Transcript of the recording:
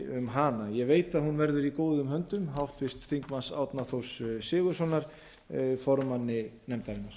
um hana ég veit að hún verður í góðum höndum háttvirtum þingmanni árna þórs sigurðssonar formanns nefndarinnar